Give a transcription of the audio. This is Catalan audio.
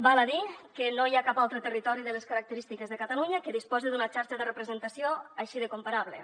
val a dir que no hi ha cap altre territori de les característiques de catalunya que disposi d’una xarxa de representació així de comparable